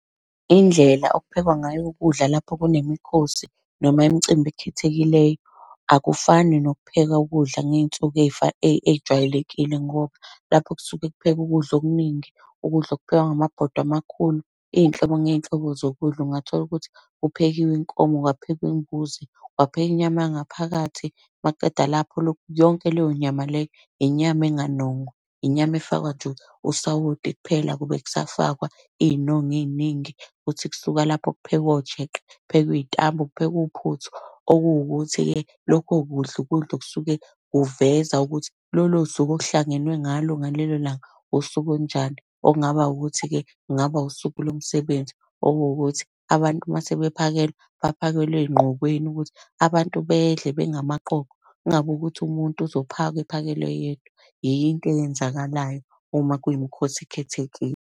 Indlela okuphekwa ngayo ukudla lapho kunemikhosi noma imicimbi ekhethekeleyo, akufani nokupheka ukudla ngey'nsuku ey'jwayelekile ngoba, lapho kusuke kuphekwe ukudla okuningi, ukudla okuphekwa ngamabondwe amakhulu, iy'nhlobo ngey'nhlobo zokudla. Ungatholukuthi kuphekiwe inkomo, kwaphekwa imbuzi, kwaphekwa inyama yangaphakathi. Umakuqedwa lapho yonke leyo nyama leyo, inyama enganongwa, inyama efakwa nje usawoti kuphela akube kusafakwa iy'nongo ey'ningi. Kuthi kusuka lapho kuphekwe ojeqe, kuphekwe iy'tambu, kuphekwe uphuthu. okuwukuthi-ke lokho kudla ukudla okusuke kuveza ukuthi lolo suku okuhlangenwe ngalo ngalelo langa usuku olunjani. Okungaba ukuthi-ke kungaba usuku lomsebenzi, okuwukuthi abantu uma sebephakelwa, baphakelwe ey'nqokweni ukuthi abantu bedle bengamaqoqo. Kungabi ukuthi umuntu uzophaka ephakelwe yedwa. Yiyo into eyenzakalayo uma kuyimikhosi ekhethekile.